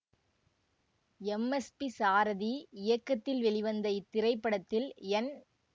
M S P Sarathi இயக்கத்தில் வெளிவந்த இத்திரைப்படத்தில் என்